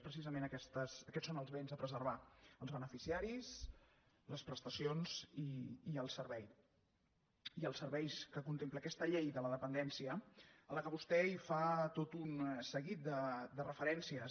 precisament aquests són els béns a preservar els beneficiaris les prestacions i el servei i els serveis que contempla aquesta llei de la dependència a la qual vostè fa tot un seguit de referències